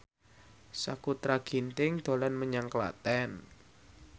Sakutra Ginting dolan menyang Klaten